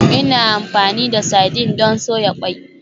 Ina amfani da sardine don soya ƙwai.